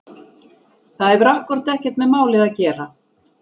Það hefur akkúrat ekkert með málið að gera!